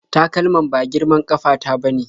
Takalman ba girman ƙafa ta ba ne.